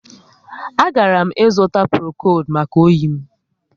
A garam ịzụta Prokodu maka oyi m